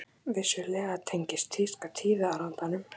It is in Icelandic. Vissulega tengist tíska tíðarandanum.